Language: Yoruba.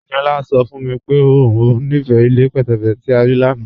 Ẹniọla sọ fún mí pé o nífé ilẹ̀ pẹtẹ̀pẹtẹ̀ tí a rí lána